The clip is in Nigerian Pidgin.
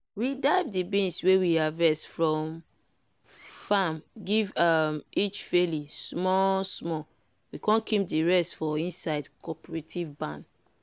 we dive di beans wey we harvest from farm give um each faily small small we come keep di rest for inside cooperative barn.